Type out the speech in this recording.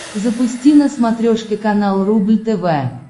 запусти на смотрешке канал рубль тв